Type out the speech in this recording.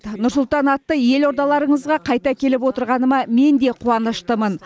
нұр сұлтан атты елордаларыңызға қайта келіп отырғаныма мен де қуаныштымын